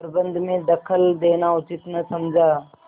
प्रबंध में दखल देना उचित न समझा